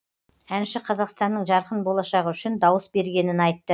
әнші қазақстанның жарқын болашағы үшін дауыс бергенін айтты